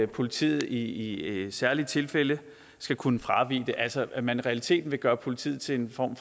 politiet i særlige tilfælde skal kunne fravige det altså at man i realiteten vil gøre politiet til en form